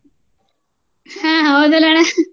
ಹ್ಮ ಹೌದಲ್ಲ ಅಣ್ಣ